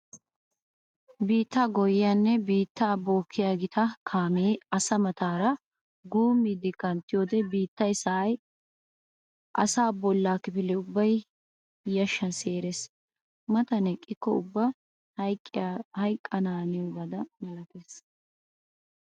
Biitta goyiyanne biitta bookkiya gita kaame asaa mataara guummiiddi kanttiyoode biittay sa'ay asaa bolla kifile ubbay yashan seerees. Matan eqqikko ubba hayqqana haniyabba malatees.